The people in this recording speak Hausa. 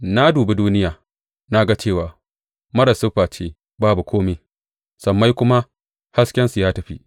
Na dubi duniya, na ga cewa marar siffa ce babu kome; sammai kuma, haskensu ya tafi.